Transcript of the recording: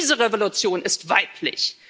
Diese Revolution ist weiblich.